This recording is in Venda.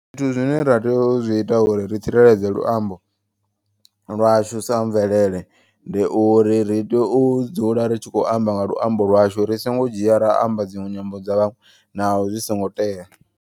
Zwithu zwine ra tea uita uri ri tsireledze luambo lwashu sa mvelele. Ndi uri ri tea u dzula ritshi kho amba nga luambo lwashu. Ri songo dzhia ra amba dziṅwe nyambo dza vhaṅwe naho zwi songo tea.